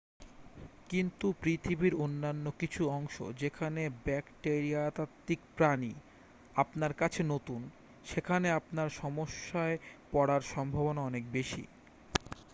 কিন্তু পৃথিবীর অন্যান্য কিছু অংশ যেখানে ব্যাকটেরিয়াতাত্ত্বিক প্রাণী আপনার কাছে নতুন সেখানে আপনার সমস্যায় পড়ার সম্ভাবনা অনেক বেশি